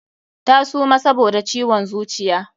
Ta suma saboda ciwon zuciya.